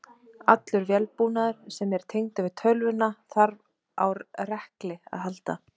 Allur vélbúnaður sem er tengdur við tölvuna þarf á rekli að halda.